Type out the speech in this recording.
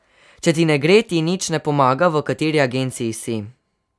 Če ti ne gre, ti nič ne pomaga, v kateri agenciji si.